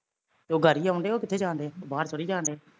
ਤੇ ਉਹ ਗਾੜੀ ਆਉਣ ਡਏ ਹੋਰ ਕਿੱਥੇ ਜਾਣ ਡਏ ਆ ਉਹ ਬਾਹਰ ਥੋੜੀ ਜਾਣ ਡਏ